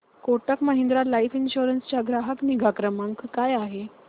Kotak Mahindra life insurance चा ग्राहक निगा क्रमांक काय आहे